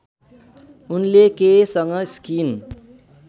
उनले केयसँग स्किन